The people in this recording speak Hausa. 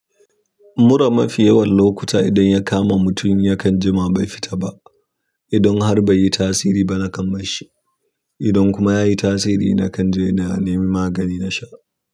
Mura mafi yawan lokuta idan ya kama mutum yakan jima bai fita ba, idan har bai yi tasiri ba nakan barshi, idan kuma ya yi tasiri nakan je na nemi magani na sha.